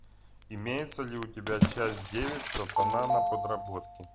имеется ли у тебя часть девять сатана на подработке